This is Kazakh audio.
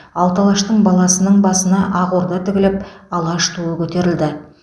алты алаштың баласының басына ақ орда тігіліп алаш туы көтерілді